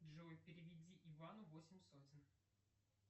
джой переведи ивану восемь сотен